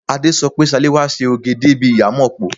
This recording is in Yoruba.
Adé sọ pé Ṣaléwá ṣe òge débi ìyámọ̀pó.